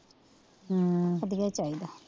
ਹਮ ਵਧੀਆ ਚਾਹੀਦਾ,